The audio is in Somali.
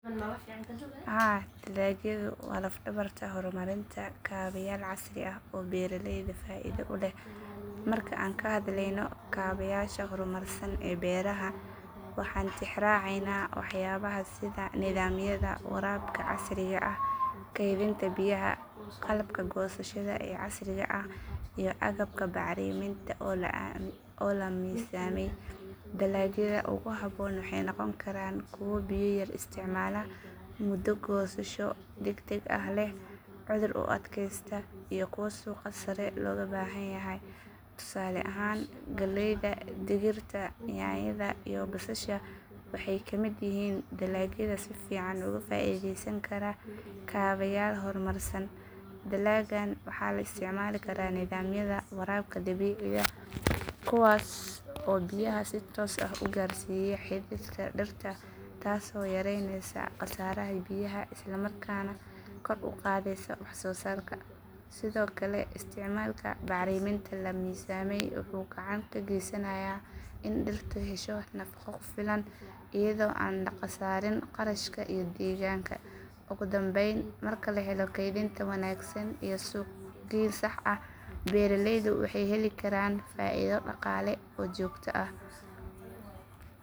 Haa, dalagyadu waa laf-dhabarta horumarinta kaabayaal casri ah oo beeraleyda faa'iido u leh. Marka aan ka hadlayno kaabayaasha horumarsan ee beeraha, waxaan tixraacaynaa waxyaabaha sida nidaamyada waraabka casriga ah, kaydinta biyaha, qalabka goosashada ee casriga ah, iyo agabka bacriminta oo la miisaamay. Dalagyada ugu habboon waxay noqon karaan kuwa biyo yar isticmaala, muddo goosho degdeg ah leh, cudur u adkaysta, iyo kuwo suuqa sare looga baahanyahay. Tusaale ahaan, galleyda, digirta, yaanyada, iyo basasha waxay ka mid yihiin dalagyada si fiican uga faa'iidaysan kara kaabayaal horumarsan. Dalaggan waxaa loo isticmaali karaa nidaamyada waraabka dhibicda, kuwaas oo biyaha si toos ah u gaarsiiya xididka dhirta taasoo yareynaysa khasaaraha biyaha isla markaana kor u qaadaysa wax soo saarka. Sidoo kale, isticmaalka bacriminta la miisaamay wuxuu gacan ka geysanayaa in dhirtu hesho nafaqo ku filan iyadoo aan la khasaarin kharashka iyo deegaanka. Ugu dambayn, marka la helo kaydinta wanaagsan iyo suuqgayn sax ah, beeraleydu waxay heli karaan faa'iido dhaqaale oo joogto ah.